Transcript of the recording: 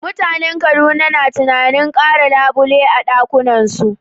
Mutanen Kaduna na tunanin kara labule a ɗakunansu